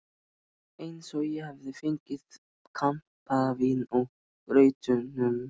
Eins og ég hefði fengið kampavín með grautnum.